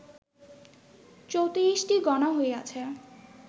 ৩৪টি গণা হইয়াছে